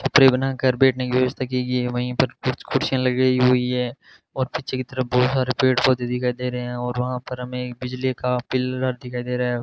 ऊपरी बनाकर बैठने की व्यवस्था की गयी हैं वहीं पर कुछ कुर्सिया लगी हुई है और पीछे की तरफ बहुत सारे पेड़ पौधे दिखाई दे रहे हैं और वहां पर हमें बिजली का पिलर दिखाई दे रहा --